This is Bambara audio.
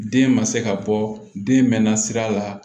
Den ma se ka bɔ den mɛn na sira la